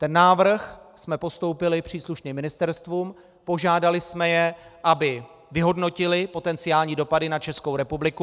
Ten návrh jsme postoupili příslušným ministerstvům, požádali jsme je, aby vyhodnotila potenciální dopady na Českou republiku.